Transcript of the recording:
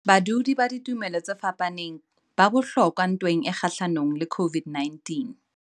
Badudi ba ditumelo tse fapaneng ba bohlokwa ntweng e kgahlanong le COVID-19